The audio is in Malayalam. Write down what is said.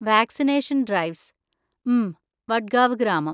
വാക്‌സിനേഷൻ ഡ്രൈവ്സ്, മ് , വഡ്‌ഗാവ് ഗ്രാമം.